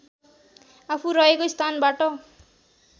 आफू रहेको स्थानबाट